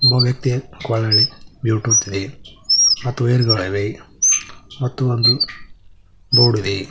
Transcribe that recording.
ಒಬ್ಬ ವ್ಯಕ್ತಿಯ ಕೊರಳಲ್ಲಿ ಬ್ಲೂಟೂತ್ ಇದೆ ಮತ್ತು ವೖಯರ್ಗಳವೆ ಮತ್ತು ಒಂದು ಬೋರ್ಡ್ ಇದೆ.